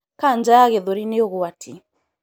Kanja ya gĩthũri nĩ ũgwati